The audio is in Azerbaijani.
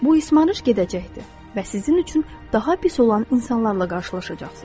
Bu ismarış gedəcəkdir və sizin üçün daha pis olan insanlarla qarşılaşacaqsız.